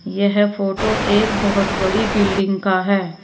यह फोटो एक बहुत बड़ी बिल्डिंग का है।